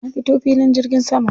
Na fito filin jirgin sama.